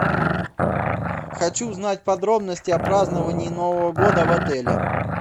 хочу узнать подробности о праздновании нового года в отеле